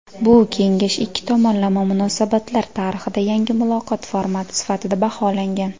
Bu kengash ikki tomonlama munosabatlar tarixida yangi muloqot formati sifatida baholangan.